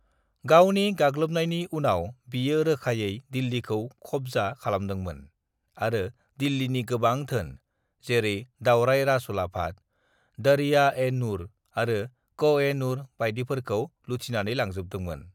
"गावनि गाग्लोबनायनि उनाव बियो रोखायै दिल्लीखौ खबजा खालामदोंमोन आरो दिल्लीनि गोबां धोन, जेरै दावराइ राजउलाफाद, दरिया-ए-नूर आरो कोह-ए-नूर बायदिफोरखौ लुथिनानै लांजोबदोंमोन।"